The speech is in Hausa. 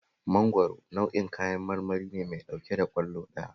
Mangwaro nau'in kayan marmari ne mai ɗauke da ƙwallo ɗaya